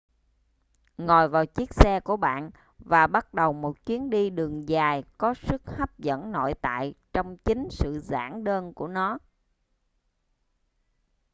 ngồi vào chiếc xe của bạn và bắt đầu một chuyến đi đường dài có sức hấp dẫn nội tại trong chính sự giản đơn của nó